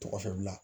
Tɔgɔ fɛn bila